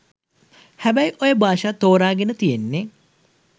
හැබැයි ඔය භාෂා තෝරගෙන තියෙන්නෙ